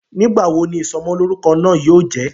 Nígbà wo ni Ìsọmọlọ́rúkọ náà yóò jẹ?